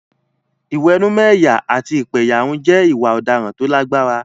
Ìwẹ̀nùmọ́ ẹ̀yà àti ìpẹ̀yàrun jẹ́ ìwà ọ̀daràn tó lágbára.